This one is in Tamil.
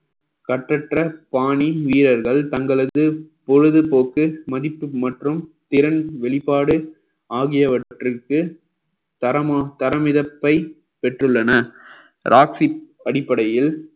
கற்றற்ற பாணி வீரர்கள் தங்களது பொழுதுபோக்கு மதிப்பு மற்றும் திறன் வெளிப்பாடு ஆகியவற்றிற்கு தரமா~ தரமிதப்பை பெற்றுள்ளன ராஹிப் அடிப்படையில்